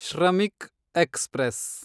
Shramik express